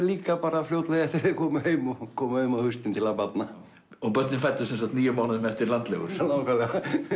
líka fljótlega eftir að þeir komu heim og komu heim á haustin til að barna og börnin fæddust níu mánuðum eftir nákvæmlega